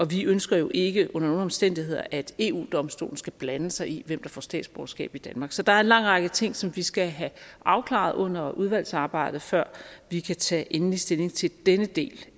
vi ønsker jo ikke under nogen omstændigheder at eu domstolen skal blande sig i hvem der får statsborgerskab i danmark så der er en lang række ting som vi skal have afklaret under udvalgsarbejdet før vi kan tage endelig stilling til denne del